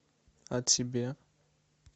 а тебе